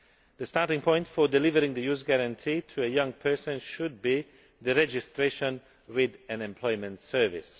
The starting point for delivering the Youth Guarantee to a young person should be their registration with an employment service.